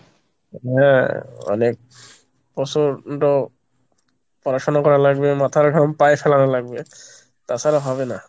হ্যাঁ, অনেক প্রচন্ড পড়াশোনা করা লাগবে, মাথার ঘাম পায়ে ফেলানো লাগবে তাছাড়া হবে না।